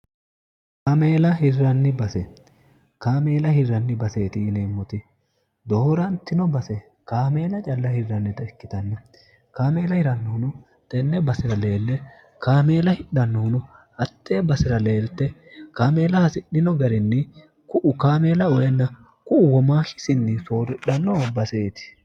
kaameela hiriranni base kaameela hirranni baseeti ineemmoti doorantino base kaameela calla hirirannit ikkitanna kaameela hirannohuno tenne basi'ra leelle kaameela hidhannohuno hattee basi'ra leelte kaameela hasidhino garinni ku'u kaameela oyinna quuwoma hisinni soorridhanno baseeti